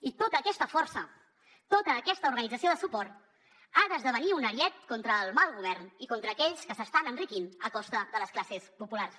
i tota aquesta força tota aquesta organització de suport ha d’esdevenir un ariet contra el mal govern i contra aquells que s’estan enriquint a costa de les classes populars